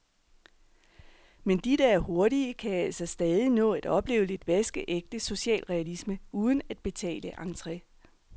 Men de, der er hurtige, kan altså stadig nå at opleve lidt vaskeægte socialrealisme, uden at betale entre.